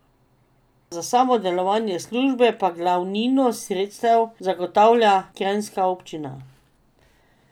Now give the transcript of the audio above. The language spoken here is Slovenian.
Za samo delovanje službe pa glavnino sredstev zagotavlja kranjska občina.